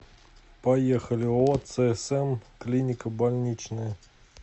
поехали ооо цсм клиника больничная